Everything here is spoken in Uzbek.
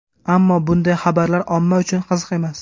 Ammo bunday xabarlar omma uchun qiziq emas.